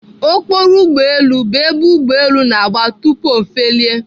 Okporo ugboelu bụ ebe ugboelu na-agba tupu O felie